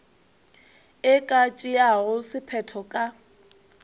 e ka tšeago sephetho ka